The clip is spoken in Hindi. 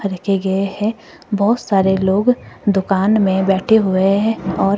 रखे गए है बहोत सारे लोग दुकान में बैठे हुए है और--